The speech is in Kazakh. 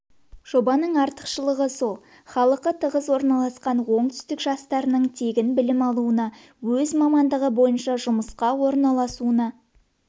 жобаның артықшылығы сол халқы тығыз орналасқан оңтүстік жастарының тегін білім алуына өз мамандығы бойынша жұмысқа орналасуына